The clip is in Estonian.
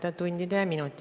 Tänan küsimuse eest!